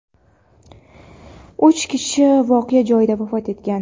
Uch kishi voqea joyida vafot etgan.